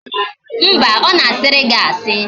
Mba, ọ na-asịrị gị asị